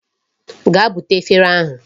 Gaa bute efere ahụ.